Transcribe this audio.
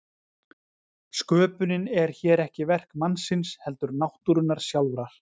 sköpunin er hér ekki verk mannsins heldur náttúrunnar sjálfrar